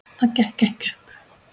Það gekk ekki upp.